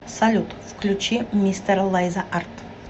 салют включи мистера лайза арт